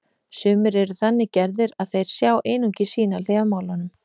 Sumir eru þannig gerðir að þeir sjá einungis sína hlið á málunum.